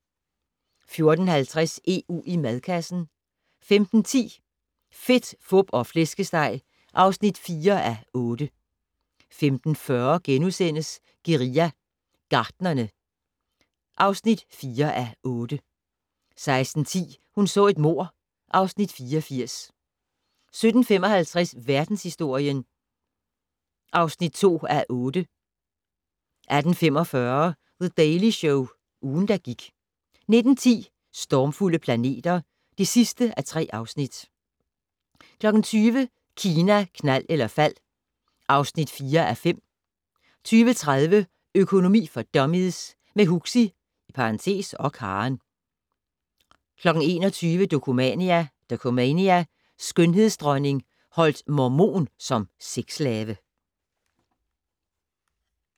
14:50: EU i madkassen 15:10: Fedt, Fup og Flæskesteg (4:8) 15:40: Guerilla Gartnerne (4:8)* 16:10: Hun så et mord (Afs. 84) 17:55: Verdenshistorien (2:8) 18:45: The Daily Show - ugen, der gik 19:10: Stormfulde planeter (3:3) 20:00: Kina, knald eller fald (4:5) 20:30: Økonomi for dummies - med Huxi (og Karen) 21:00: Dokumania: Skønhedsdronning holdt mormon som sexslave